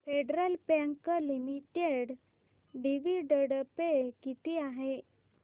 federal Bank Limited dividend पे किती आहे